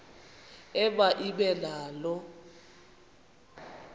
ema ibe nalo